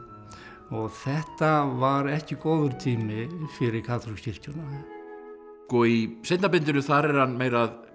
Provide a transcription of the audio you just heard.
og þetta var ekki góður tími fyrir kaþólsku kirkjuna í seinna bindinu þar er hann meira að